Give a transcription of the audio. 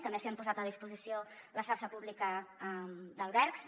també s’ha posat a disposició la xarxa pública d’albergs